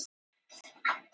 Það eru þannig vísbendingar.